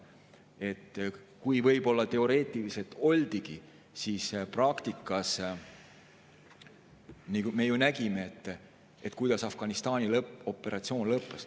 Kui võib-olla teoreetiliselt oldigi, siis praktikas me ju nägime, kuidas Afganistani operatsioon lõppes.